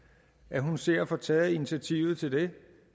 ser at få taget initiativ til det